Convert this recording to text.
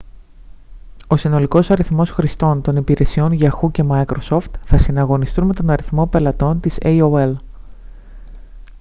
ο συνολικός αριθμός χρηστών των υπηρεσιών yahoo και microsoft θα συναγωνιστούν με τον αριθμό των πελατών της aol